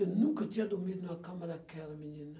Eu nunca tinha dormido numa cama daquela, menina.